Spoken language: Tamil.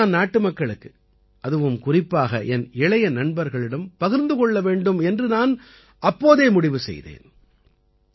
இது பற்றி நான் நாட்டுமக்களுக்கு அதுவும் குறிப்பாக என் இளைய நண்பர்களிடம் பகிர்ந்து கொள்ள வேண்டும் என்று நான் அப்போதே முடிவு செய்தேன்